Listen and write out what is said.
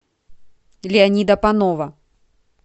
леонида панова